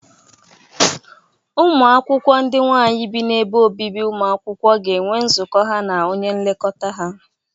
Ụmụ akwụkwọ ndị nwaanyị bi n'ebe obibi ụmụ akwụkwọ ga-enwe nzụkọ ha na onye nlekọta ha.